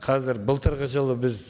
қазір былтырғы жылы біз